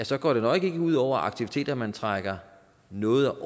så går det nok ikke ud over aktiviteter at man trækker noget